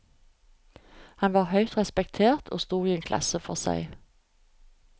Han var høyt respektert og sto i en klasse for seg.